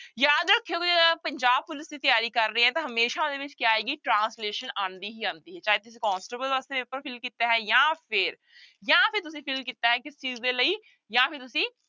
ਯਾਦ ਰੱਖਿਓ ਵੀ ਜਿਹੜਾ ਪੰਜਾਬ ਪੁਲਿਸ ਦੀ ਤਿਆਰੀ ਕਰ ਰਹੇ ਹੈ ਤਾਂ ਹਮੇਸ਼ਾ ਉਹਦੇ ਵਿੱਚ ਕਿਆ ਆਏਗੀ translation ਆਉਂਦੀ ਹੀ ਆਉਂਦੀ ਹੈ ਚਾਹੇ ਤੁਸੀਂ ਕੋਂਸਟੇਬਲ ਵਾਸਤੇ ਪੇਪਰ fill ਕੀਤਾ ਹੈ ਜਾਂ ਫਿਰ ਜਾਂ ਫਿਰ ਤੁਸੀਂ fill ਕੀਤਾ ਹੈ ਕਿਸ ਚੀਜ਼ ਦੇ ਲਈ ਜਾਂ ਫਿਰ ਤੁਸੀਂ